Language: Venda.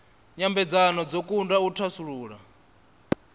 nyambedzano dzo kundwa u thasulula